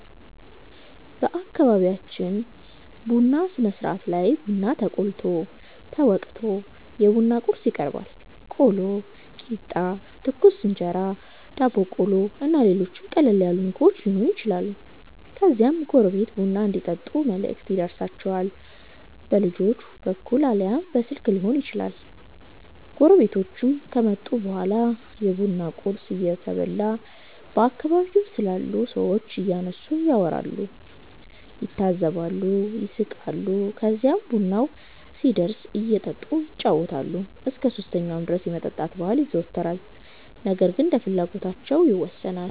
በአከቢቢያችን ቡና ስነስርአት ላይ ቡና ተቆልቶ፣ ተወቅቶ፣ የቡና ቁርስ ይቀርባል(ቆሎ፣ ቂጣ፣ ትኩስ እንጀራ፣ ዳቦ ቆሎ እና ሌሎችም ቀለል ያሉ ምግቦች የሆኑ ይችላሉ) ከዚያም ጎረቤት ቡና እንዲጠጡ መልእክት ይደርሣቸዋል። በልጆች በኩል አልያም በስልክ ሊሆን ይችላል። ጎረቤቶቹ ከመጡ በኋላ የቡና ቁርስ እየተበላ በአከባቢው ስላሉ ሠዎች እያነሱ ያወራሉ፣ ይታዘባሉ፣ ይስቃሉ። ከዚህም ቡናው ሲደርስ እየጠጡ ይጫወታሉ። እስከ 3ኛው ድረስ የመጠጣት ባህል ይዘወተራል ነገር ግን እንደየፍላጎታቸው ይወሠናል።